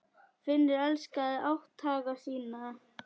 Finnur elskaði átthaga sína.